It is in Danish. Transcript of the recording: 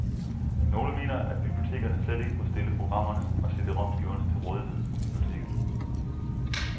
Nogle mener, at bibliotekerne slet ikke må stille programmerne og CDromskiverne til rådighed på biblioteket.